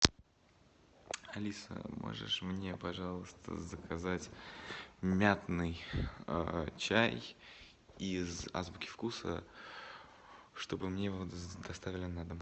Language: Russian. алиса можешь мне пожалуйста заказать мятный чай из азбуки вкуса чтобы мне его доставили на дом